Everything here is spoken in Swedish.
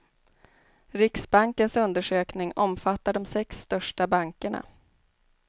Riksbankens undersökning omfattar de sex största bankerna.